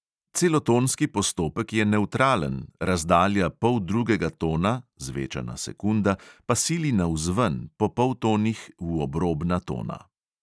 Celotonski postopek je nevtralen, razdalja poldrugega tona (zvečana sekunda) pa sili navzven – po poltonih v obrobna tona.